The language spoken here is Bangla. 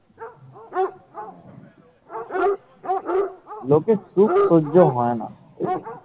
লোকের চোখ সহ্য হয় না ।